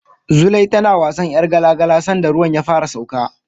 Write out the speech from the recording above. Zulai tana wasan ƴar gala-gala sanda ruwan ya fara sauka.